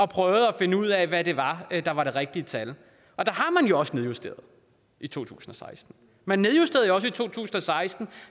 prøvet at finde ud af hvad det var der var det rigtige tal og der har man jo også nedjusteret i to tusind og seksten man nedjusterede også i to tusind og seksten